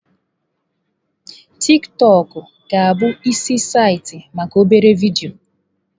TikiTokụ ga-abụ isi saịtị maka obere vidio.